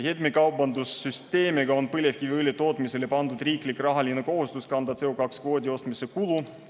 Heitmekaubanduse süsteemiga on põlevkiviõli tootmisele pandud riiklik rahaline kohustus kanda CO2 kvootide ostmise kulu.